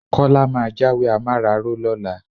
Kọ́lá máa jáwé amáraró lọ́la.